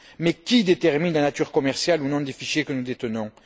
Mais qui détermine la nature commerciale ou non des fichiers que nous détenons?